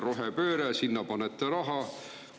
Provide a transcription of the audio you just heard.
Rohepööre – sinna panete raha.